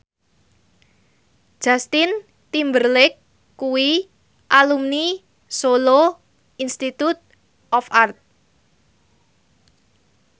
Justin Timberlake kuwi alumni Solo Institute of Art